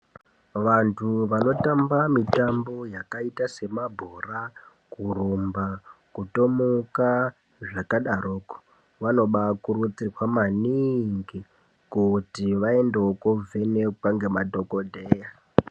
Vanthu vanotamba mitambo yakaita semabhora, kurumba, kutomuka zvakadaroko, vanobaakurudzirwa maniingi kuti vaendewo koovhenekwa ngemadhokodheya.